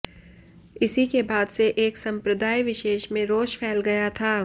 इसी के बाद से एक संप्रदाय विशेष में रोष फैल गया था